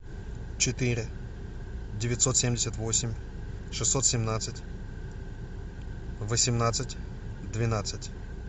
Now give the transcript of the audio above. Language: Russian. четыре девятьсот семьдесят восемь шестьсот семнадцать восемнадцать двенадцать